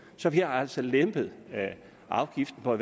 så vi har altså lempet afgiften for